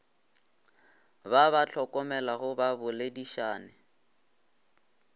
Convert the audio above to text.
ba ba hlokomelago ba boledišane